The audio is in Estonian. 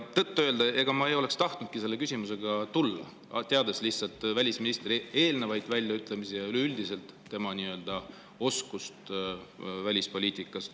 Tõtt-öelda ma ei tahtnudki selle küsimusega siia tulla, teades välisministri eelnevaid väljaütlemisi ja üleüldiselt tema nii-öelda oskusi välispoliitikas.